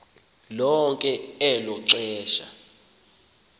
lonke elo xesha